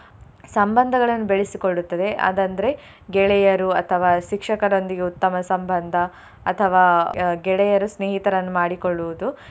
ಸಂಬಂಧಗಳನ್ನು ಬೆಳೆಸಿಕೊಳ್ಳುತ್ತದೆ ಅದಂದ್ರೆ ಗೆಳೆಯರು ಅಥವಾ ಶಿಕ್ಷಕರೊಂದಿಗೆ ಉತ್ತಮ ಸಂಬಂಧ ಅಥವಾ ಅಹ್ ಗೆಳೆಯರು ಸ್ನೇಹಿತರನ್ನು ಮಾಡಿಕೊಳ್ಳುವುದು.